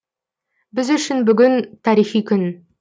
біз үшін бүгін тарихи күн